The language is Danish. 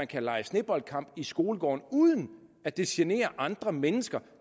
kan lege sneboldkamp i skolegården uden at det generer andre mennesker